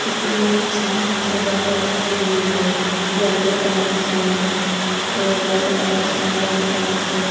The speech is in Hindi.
कितना अच्छा सजावट की हुई है येलो कलर से और रेड कलर से ऑरेंज कलर से।